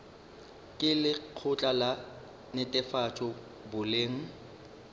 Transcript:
ke lekgotla la netefatšo boleng